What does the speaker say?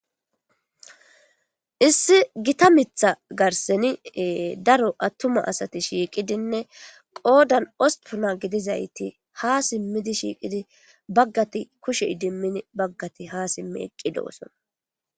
Issi gita mitha garseni daro attuma asati shiiqidinne qoodan ospuna gidizayti ha simmidi shiiqidi baggati kushe idimmin baggati ha simmi eqqi dooson.